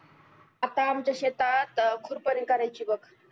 आता आमच्या शेतात खुरपणी कराची बघ